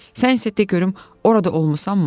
Sən isə de görüm orada olmusanmı?